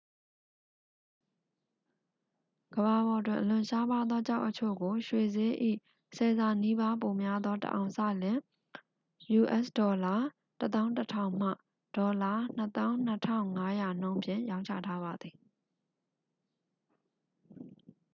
ကမ္ဘာပေါ်တွင်အလွန်ရှားပါးသောကျောက်အချို့ကို ရွှေစျေး၏ ဆယ်ဆနီးပါးပိုများသော တစ်အောင်စလျှင် us$၁၁,၀၀၀ မှ $၂၂,၅၀၀ နှုန်းဖြင့် ရောင်းချထားပါသည်။